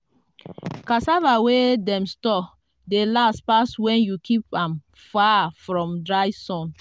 cassava wey dem store dey last pass when you keep am far from dry sun.